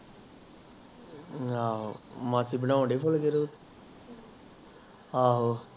ਮਾਸੀ ਬਾਂਉਂਦਾਈ ਫੁਲਕੇ ਹਮ ਆਹੋ ਆਹੋ